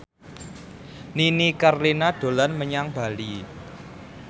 Nini Carlina dolan menyang Bali